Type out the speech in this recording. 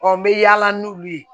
n bɛ yaala n'olu ye